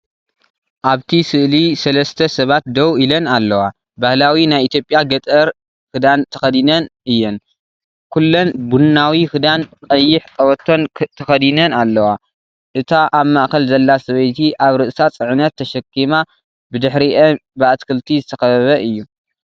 ኣብቲ ስእሊ ሰለስተ ሰባት ደው ኢሎን ኣለዋ። ባህላዊ ናይ ኢትዮጵያ ገጠር ክዳን ተኸዲነን እዮን። ኩሎን ቡናዊ ክዳን ቀይሕ ቀበቶን ተኸዲነን ኣላዋ። እታ ኣብ ማእከል ዘላ ሰበይቲ ኣብ ርእሳ ጽዕነት ተሰኪማ ኣላ። ብድሕሪአን ብኣትክልቲ ዝተኸበበ እዩ።